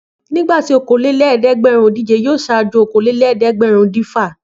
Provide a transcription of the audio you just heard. Nígbà tí okòólélẹ́ẹ̀dẹ́gbẹ̀rúndínèje yóò ṣáájú okòólélẹ́ẹ̀dẹ́gbẹ̀rúndínẹ̀fà.